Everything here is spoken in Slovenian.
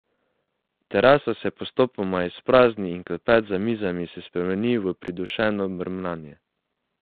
Terasa se postopoma izprazni in klepet za mizami se spremeni v pridušeno mrmranje.